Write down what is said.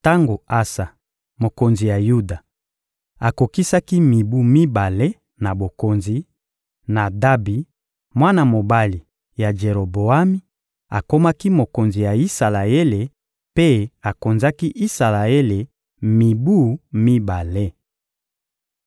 Tango Asa, mokonzi ya Yuda, akokisaki mibu mibale na bokonzi; Nadabi, mwana mobali ya Jeroboami, akomaki mokonzi ya Isalaele mpe akonzaki Isalaele mibu mibale.